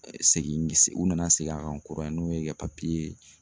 Segin u nana segin a kan kura ye n'o ye ka